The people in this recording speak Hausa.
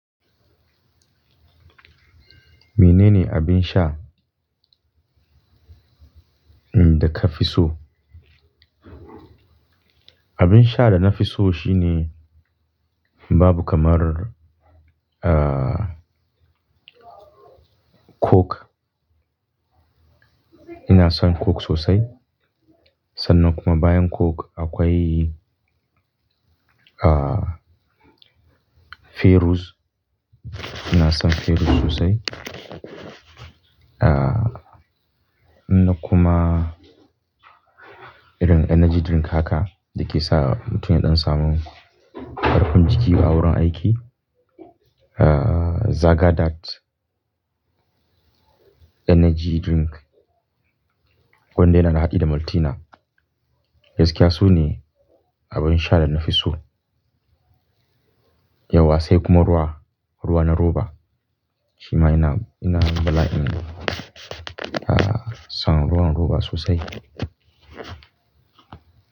Menene abin sha, umm, da ka fi so? Abin sha da na fi so shine babu kamar, ah, coke. Ina son coke sosai. Sannan kuma bayan coke akwai, ah, Ferooz. Ina son Ferooz sosai. Ah, inna kuma irin energy drink haka da ke sa mutum ya ɗan samu kafin jiki a wurin aiki. Ah, Xaga Dat Energy Drink wanda yana da haɗi da Maltina. Gaskiya sune abin sha da na fi so. Yauwa sai kuma ruwa, ruwa na roba. Shi ma ina, ina bala'in, ah, son ruwan roba sosai.